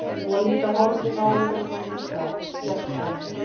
Hún var líka horfin áður en hann vissi af, gekk framhjá